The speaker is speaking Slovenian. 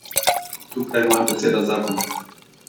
Tukaj je moja beseda zakon.